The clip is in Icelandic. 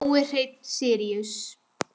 Nói Hreinn Síríus.